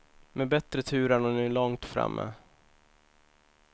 Med bättre tur är hon nu långt framme.